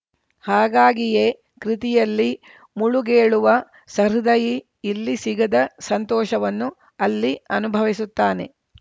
ಹಾಗಾಗಿಯೇ ಕೃತಿಯಲ್ಲಿ ಮುಳುಗೇಳುವ ಸಹೃದಯಿ ಇಲ್ಲಿ ಸಿಗದ ಸಂತೋಷವನ್ನು ಅಲ್ಲಿ ಅನುಭವಿಸುತ್ತಾನೆ